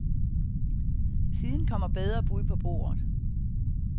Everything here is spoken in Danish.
Siden kommer bedre bud på bordet.